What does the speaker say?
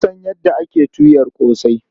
Na san yadda ake tuyar ƙosai.